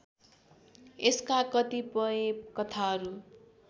यसका कतिपय कथाहरू